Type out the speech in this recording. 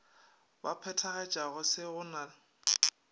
ba phethagatšago se go na